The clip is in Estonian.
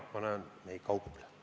... me enam ei kauple.